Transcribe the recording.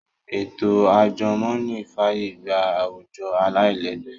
Ètò àjùmọ̀ní fàyè gba àwùjọ aláìlẹ́gbẹ́